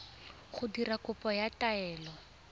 go dira kopo ya taelo